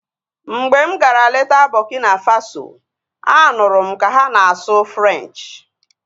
Mgbe m gara leta Burkina Faso, a nụrụ m ka ha na-asụ Frenchi